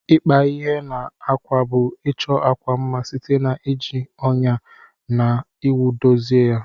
Ikpa ihe na akwa bu ichọ akwa mma site na iji ọnya na owu dozie ya.